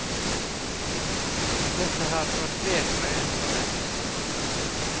Dette har gått bedre enn forventet.